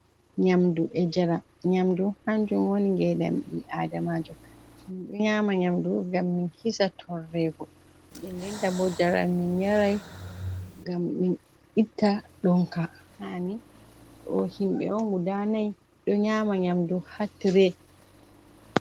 Nyamdu e njaram, nyamdu hanjum wani ngedam ɓi adamajo ɗo nyama nyamdu ngam min hisa torrego, ndenden tabo njaram min nyarai ngam min itta ɗonka hani, ɗo himɓe on guda nay ɗo nyama nyamdu hatire.